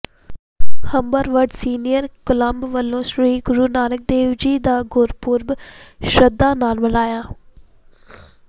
Humberwood senior club ਵਲੋਂ ਸ੍ਰੀ ਗੁਰੂ ਨਾਨਕ ਦੇਵ ਜੀ ਦਾ ਗੁਰਪੁਰਬ ਸ਼ਰਧਾ ਨਾਲ ਮਨਾਇਆ